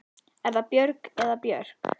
Er það Björg eða Björk?